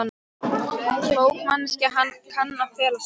Klók manneskja kann að fela sig.